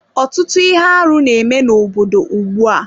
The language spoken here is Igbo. Ọtụtụ ihe arụ n'eme n'obodo ugbu a